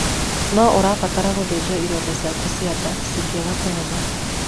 No ũbatare gũthĩnjwo ironda ciaku cia nda cingĩanga kũhona.